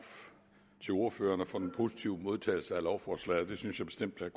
til ordførerne for den positive modtagelse af lovforslaget det synes jeg bestemt at